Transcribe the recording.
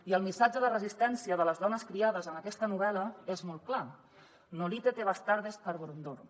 i el missatge de resistència de les dones criades en aquesta novel·la és molt clar nolite te bastardes carborundorum